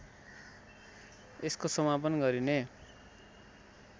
यसको समापन गरिने